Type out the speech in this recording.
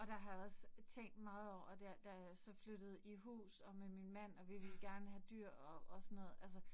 Og der har jeg også tænkt meget over der, da jeg så flyttede i hus og med min mand, og vi ville gerne have dyr og og sådan noget altså